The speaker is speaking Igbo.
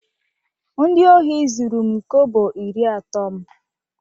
Ndị ohi zuru m kobo iri atọ m